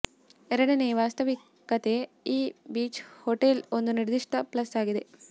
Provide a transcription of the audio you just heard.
ಎರಡನೆಯ ವಾಸ್ತವಿಕತೆ ಈ ಬೀಚ್ ಹೋಟೆಲ್ ಒಂದು ನಿರ್ದಿಷ್ಟ ಪ್ಲಸ್ ಆಗಿದೆ